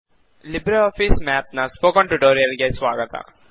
Libre office Math ನ spoken tutorial ಗೆ ಸ್ವಾಗತ